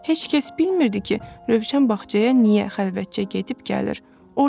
Heç kəs bilmirdi ki, Rövşən bağçaya niyə xəlvətcə gedib gəlir, orda neynir.